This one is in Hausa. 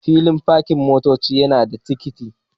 Filin pakin motocin nada tikiti